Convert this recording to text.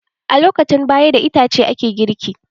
A lokacin baya, da itace ake girki.